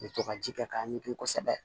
N bɛ to ka ji kɛ k'a ɲɛdon kosɛbɛ